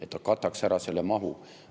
Et ta kataks ära selle mahu.